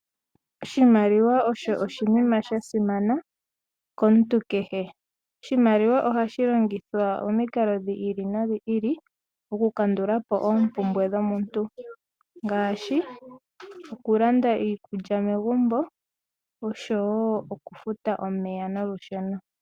Oshimaliwa osho oshinima sha simana komuntu kehe. Ohashi longithwa momikalo dhi ili no dhi ili, oku kandulapo oompumbwe dhomuntu ngaashi oku landa iikulya megumbo nosho woo oku futa omeya nolusheno.